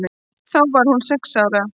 Þá var hún sex ára.